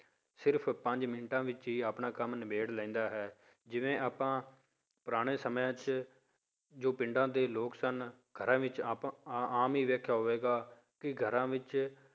ਸਿਰਫ਼ ਪੰਜ ਮਿੰਟਾਂ ਵਿੱਚ ਹੀ ਆਪਣਾ ਕੰਮ ਨਿਬੇੜ ਲੈਂਦਾ ਹੈ, ਜਿਵੇਂ ਆਪਾਂ ਪੁਰਾਣੇ ਸਮਿਆਂ ਵਿੱਚ ਜੋ ਪਿੰਡਾਂ ਦੇ ਲੋਕ ਸਨ ਘਰਾਂ ਵਿੱਚ ਆਪਾਂ ਆਮ ਹੀ ਵੇਖਿਆ ਹੋਵੇਗਾ ਕਿ ਘਰਾਂ ਵਿੱਚ